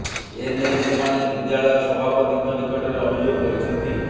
ଏ ନେଇ ସେମାନେ ବିଦ୍ୟାଳୟ ସଭାପତିଙ୍କ ନିକଟରେ ଅଭିଯୋଗ କରିଛନ୍ତି